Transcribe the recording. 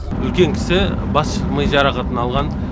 үлкен кісі бас ми жарақатын алған